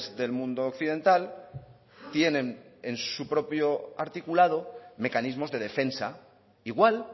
del mundo occidental tienen en su propio articulado mecanismos de defensa igual